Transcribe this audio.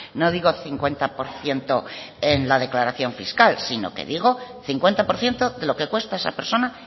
no digo cincuenta por ciento en la declaración fiscal sino que digo cincuenta por ciento de lo que cuesta esa persona